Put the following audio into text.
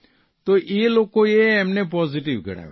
તો એ લોકોએ એમને પોઝીટીવ ગણાવ્યા